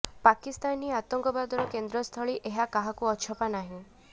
ପାକିସ୍ତାନ ହିଁ ଆତଙ୍କବାଦର କେନ୍ଦ୍ରସ୍ଥଳୀ ଏହା କାହାକୁ ଅଛପା ନାହିଁ